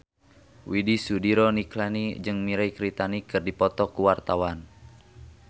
Widy Soediro Nichlany jeung Mirei Kiritani keur dipoto ku wartawan